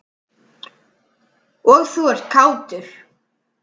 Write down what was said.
Og þú ert kátur.